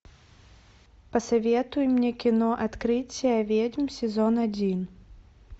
посоветуй мне кино открытие ведьм сезон один